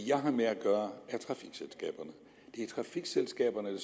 jeg har med at gøre er trafikselskaberne det